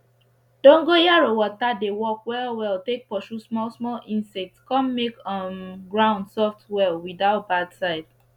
dongoyaro water dey work well well take pursue small small insects con make um ground soft well without bad side